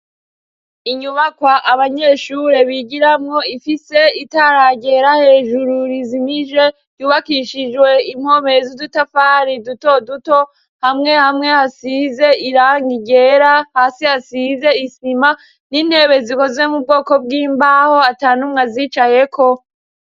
Inyubakwa abanyeshure bigiramwo ivyirwa ifise itara ryera hejuru rizimije ryubakishijwe impome z'udutafari duto duto hamwe hamwe hasize irangi ryera hasi hasize isima n'intebe zikoze mu bwoko bw'imbaho atanumwe azicayeko.